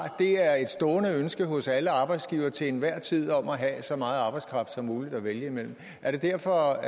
er et stående ønske hos alle arbejdsgivere til enhver tid om at have så meget arbejdskraft som muligt at vælge imellem er det derfor